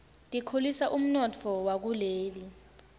tikhulisa umnotfo wakuleli